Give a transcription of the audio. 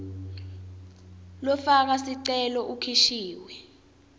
lofaka sicelo ukhishiwe